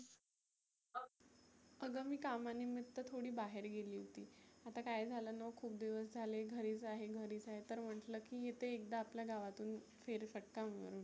आगं मी कामा निमीत्त थोडी बाहेर गेली होती. आता काय झालंना खुप दिवस झाले घरीच आहे घरीच आहे. तर म्हटलं येते एकदा आपल्या गावातुन फेर फटका मारुन.